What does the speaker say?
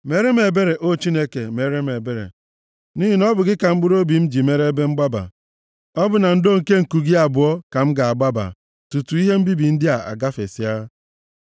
Meere m ebere, O Chineke, meere m ebere, nʼihi na ọ bụ gị ka mkpụrụobi m ji mere ebe mgbaba. Ọ bụ na ndo nke nku gị abụọ ka m ga-agbaba tutuu ihe mbibi ndị a agafesịa.